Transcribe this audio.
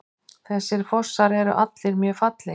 Þessir fossar eru allir mjög fallegir.